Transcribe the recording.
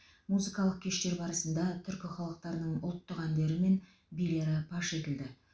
музыкалық кештер барысында түркі халықтарының ұлттық әндері мен билері паш етілді